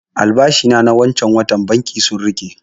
Albashi na wancan watan banki sun riƙe